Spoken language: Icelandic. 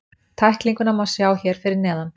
Tæklinguna má sjá hér fyrir neðan.